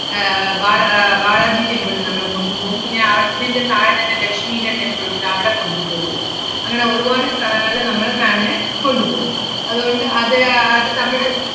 ആഹ് ബാല~ ആഹ് ബാലാജി temple ല് നമ്മള് കൊണ്ടുപോം. പിന്നെ അതിന്‍റെ താഴെ തന്നെ ലക്ഷ്മിടെ temple ഉണ്ട്. അവടെ കൊണ്ടുപോവും. അങ്ങനെ ഒരുവാട് സ്ഥലങ്ങളില് നമ്മള് ma'am നെ കൊണ്ടുപോം. അതുകൊണ്ട് അത് ആഹ് അത് നമ്മള്,